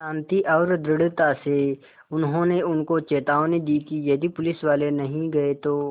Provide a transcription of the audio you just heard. शान्ति और दृढ़ता से उन्होंने उनको चेतावनी दी यदि पुलिसवाले नहीं गए तो